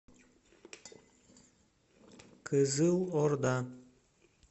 кызылорда